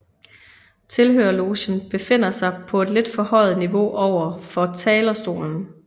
Tilhørerlogen befinder på et lidt forhøjet niveau overfor talerstolen